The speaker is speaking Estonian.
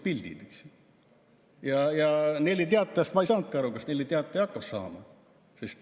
Nelli Teataja puhul ma ei saanudki aru, kas see hakkab saama.